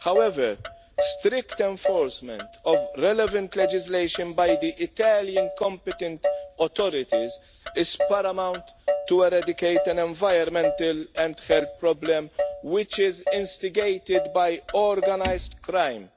However, strict enforcement of relevant legislation by the Italian competent authorities is paramount to eradicate an environmental and health problem which is instigated by organised crime,